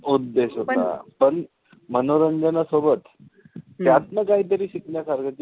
उद्देश होता. पण मनोरंजनासोबत त्यातलं काहीतरी शिकण्यासारखं,